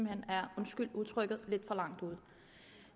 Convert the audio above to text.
hen er undskyld udtrykket lidt for langt ude